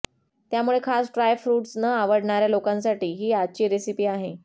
त्यामुळे खास dry fruits न आवडणाऱ्या लोकांसाठी ही आजची रेसिपी आहे